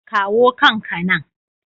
Kawo kan ka nan!